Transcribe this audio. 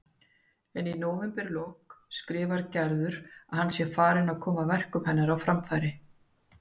En í nóvemberlok skrifar Gerður að hann sé farinn að koma verkum hennar á framfæri.